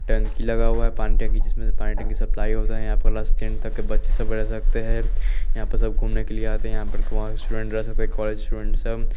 tent लगा हुआ है पण्डे के इसमें पानी की सप्लाई हो जाये यहाँं पर बस टेंट तक बच्चे सब रेह सकते है यहाँं पे सब घूमने के लिए आते है यहाँं पर स्टूडेंट रह सकते है कॉलेज स्टूडेंट --